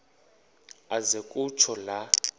aze kutsho la